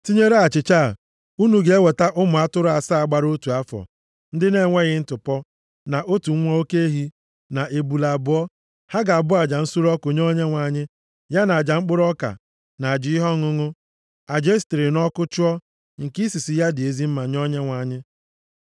Tinyere achịcha a, unu ga-eweta ụmụ atụrụ asaa gbara otu afọ, ndị na-enweghị ntụpọ, na otu nwa oke ehi, na ebule abụọ. Ha ga-abụ aja nsure ọkụ nye Onyenwe anyị, ya na aja mkpụrụ ọka na aja ihe ọṅụṅụ, aja e sitere nʼọkụ chụọ, nke isisi ya dị ezi mma nye Onyenwe anyị.